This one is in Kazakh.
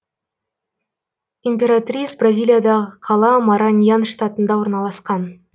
императрис бразилиядағы қала мараньян штатында орналасқан